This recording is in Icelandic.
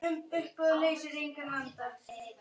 Ef við aðeins vissum.